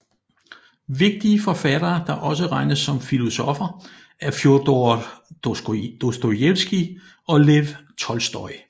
Vigtige forfattere der også regnes som filosoffer er Fjodor Dostojevskij og Lev Tolstoj